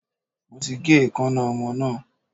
Mo ti gé eekańná ọmọ náà.